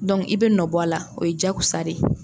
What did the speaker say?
i bɛ nɔ bɔ a la o ye jaagosa de ye.